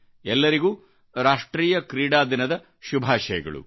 ಎಲ್ಲರಿಗೂ ರಾಷ್ಟ್ರೀಯ ಕ್ರೀಡಾದಿನದಶುಭಾಶಯಗಳು